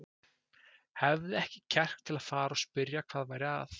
Hafði ekki kjark til að fara og spyrja hvað væri að.